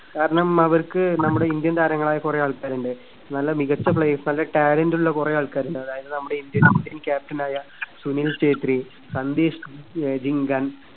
കാരണം അവർക്ക് നമ്മുടെ ഇന്ത്യൻ താരങ്ങളായ കുറെ ആൾക്കാരുണ്ട്. നല്ല മികച്ച players നല്ല talent ഉള്ള കുറെ ആൾക്കാരുണ്ട്. അതായത് നമ്മുടെ indian, indian captain ആയ സുനിൽ ഛേത്രി, സന്ദേഷ് ആഹ് ജിംഗൻ